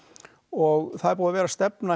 og það er búið að vera stefna